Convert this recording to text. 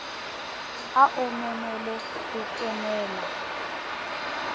a o memele ho kenela